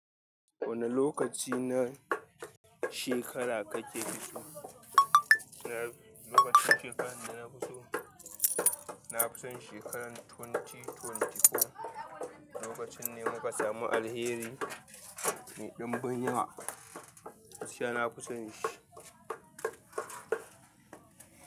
Wane lokaci na shekara kake fito? Na lokacin shekarar da na fito, na fi son shekarar dubu biyu da ashirin da huɗu. Lokacin ne muka samu alheri mai ɗimbin yiwa. Siya na fi son shi.